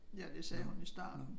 Ja det sagde hun i starten